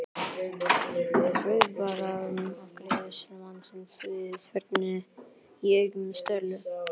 var viðbragð afgreiðslumannsins við spurninni í augum Sturlu.